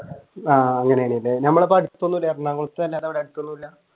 ആഹ്